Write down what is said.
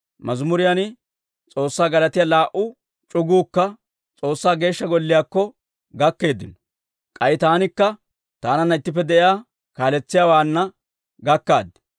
Mazimuriyaan S'oossaa galatiyaa laa"u c'uguukka S'oossaa Geeshsha Golliyaakko gakkeeddino; k'ay taanikka taananna ittippe de'iyaa kaaletsiyaawaana gakkaad.